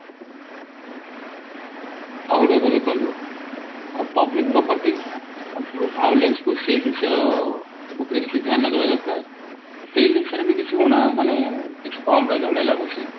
ଆଉ ଗୋଟେ କଥା ଦେଖନ୍ତୁ public property ଆଉ ଯୋଉ valence କୁ ସେଇ ଜିନିଷ ଅ ଉପରେ କିଛି ଧ୍ୟାନ ଦେବା ଦରକାର ସେଇ ଜିନିଷ ରେ ବି କିଛି ଊଣା ମାନେ କିଛି କମ ରହିଲା ଭଳି ଲାଗୁଛି